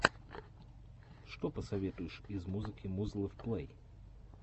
что посоветуешь из музыки музлов плей